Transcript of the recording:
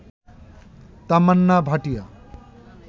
Tamannaah Bhatia